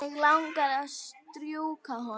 Mig langar að strjúka honum.